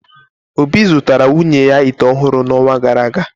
Obi zụtara nwunye ya ite ọhụrụ n’ọnwa gara aga.